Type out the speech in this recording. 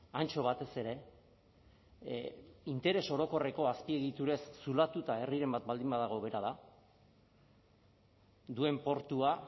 antxo batez ere interes orokorreko azpiegiturez zulatuta herriren bat baldin badago bera da duen portua